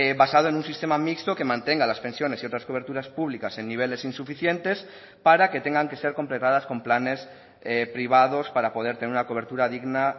basado en un sistema mixto que mantenga las pensiones y otras coberturas públicas en niveles insuficientes para que tengan que ser completadas con planes privados para poder tener una cobertura digna